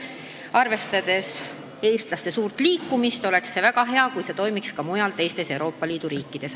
Arvestades eestlaste suurt liikumist, oleks väga hea, kui digiretsept toimiks ka mujal, teistes Euroopa Liidu riikides.